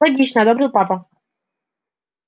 логично одобрил папа